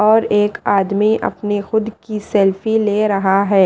और एक आदमी खुद की सेल्फी ले रहा है।